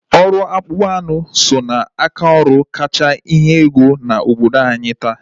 Ọrụ akpụkpọ anụ so ná aka ọrụ kacha enye ego na obodo anyị taa.